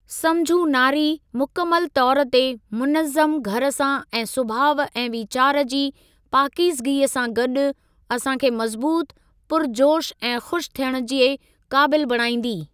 सम्झू नारी, मुकमल तौरु ते मुनज़्ज़म घर सां ऐं सुभाउ ऐं वीचार जी पाकीज़गी सां गॾु, असां खे मज़बूत पुरिजोश ऐं खु़श थियणु जे क़ाबिलु बणाईंदी।